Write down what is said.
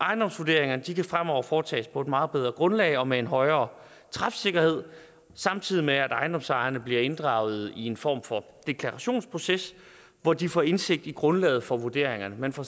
ejendomsvurderingerne kan fremover foretages på et meget bedre grundlag og med en højere træfsikkerhed samtidig med at ejendomsejerne bliver inddraget i en form for deklarationsproces hvor de får indsigt i grundlaget for vurderingerne man får